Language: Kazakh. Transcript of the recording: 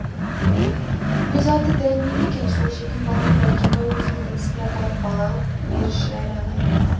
өз аты дәрмен екен сол жетім баланы дәркембай өзінің інісіне апарып бала ғып беріші әрі ағайынның